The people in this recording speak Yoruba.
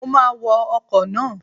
Mo máa wọ ọkọ̀ náà.